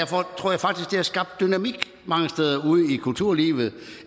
har skabt dynamik mange steder ude i kulturlivet